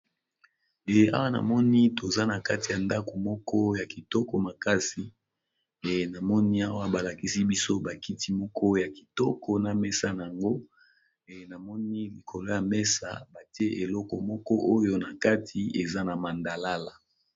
Eh awa namoni toza na kati ya ndako moko ya kitoko makasi e namoni awa balakisi biso bakiti moko ya kitoko na mesa na yango e namoni likolo ya mesa batie eloko moko oyo na kati eza na mandalala.